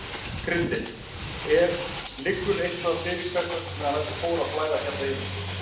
Kristinn: Er, liggur eitthvað fyrir hvers vegna þetta fór að flæða hérna inn?